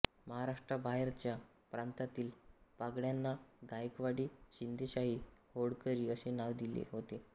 महाराष्ट्राबाहेरच्या प्रांतातील पगड्यांना गायकवाडी शिंदेशाही होळकरी अशी नावे होती